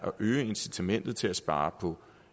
øge incitamentet til at spare på